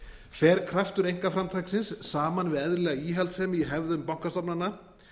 fer kraftur einkaframtaksins saman við eðlilega íhaldssemi í hefðum bankastofnana